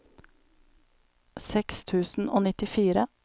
seks tusen og nittifire